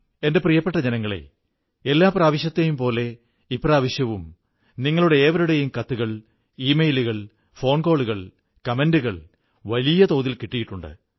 എന്റെ പ്രിയപ്പെട്ട ജനങ്ങളേ എല്ലാ പ്രാവശ്യത്തെയും പോലെ ഇപ്രാവശ്യവും നിങ്ങളുടെ ഏവരുടെയും കത്തുകൾ ഇമെയിലുകൾ ഫോൺകോളുകൾ അഭിപ്രായങ്ങൾ വലിയ അളവിൽ കിട്ടിയിട്ടുണ്ട്